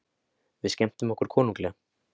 Við skemmtum okkur konunglega.